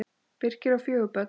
Birkir á fjögur börn.